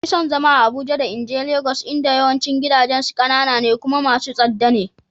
Na fi son zama a Abuja da in je Legas inda yawancin gidajensu kanana ne kuma masu tsada ne.